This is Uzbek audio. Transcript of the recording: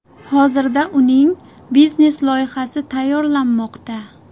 Hozirda uning biznes-loyihasi tayyorlanmoqda.